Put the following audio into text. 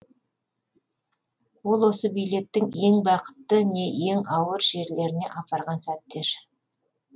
ол осы билеттің ең бақытты не ең ауыр жерлеріне апарған сәттер